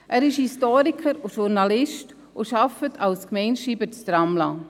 Er ist Historiker und Journalist und arbeitet als Gemeindeschreiber in Tramelan.